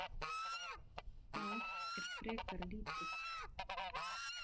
Það er frekar lítið.